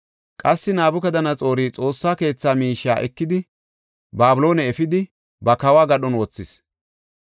Qassi Nabukadanaxoori Xoossa keetha miishiya ekidi Babiloone efidi, ba kawo gadhon wothis.